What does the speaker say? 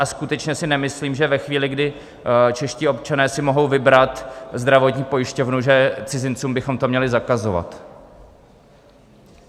A skutečně si nemyslím, že ve chvíli, kdy čeští občané si mohou vybrat zdravotní pojišťovnu, že cizincům bychom to měli zakazovat.